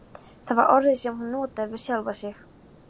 Það var orðið sem hún notaði við sjálfa sig.